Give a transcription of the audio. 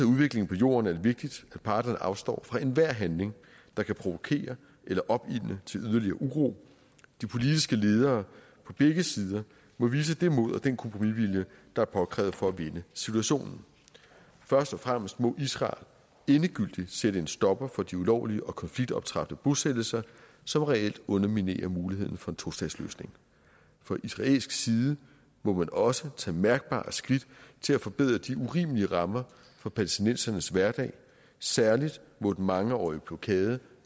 udviklingen på jorden er det vigtigt at parterne afstår fra enhver handling der kan provokere eller opildne til yderligere uro de politiske ledere på begge sider må udvise det mod og den kompromisvilje der er påkrævet for at vende situationen først og fremmest må israel sætte en stopper for de ulovlige og konfliktoptrappende bosættelser som reelt underminerer muligheden for en tostatsløsning fra israelsk side må man også tage mærkbare skridt til at forbedre de urimelige rammer for palæstinensernes hverdag særlig må den mangeårige blokade